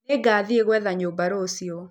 Nĩngathiĩ gwetha nyũmba rũciũ.